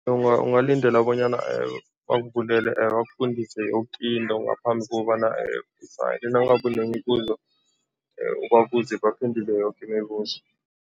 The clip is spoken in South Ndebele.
Ungalindela bonyana bakuvulele, bakufundise yoke into ngaphambi kobana nangabe unemibuzo, ubabuze, baphendule yoke imibuzo.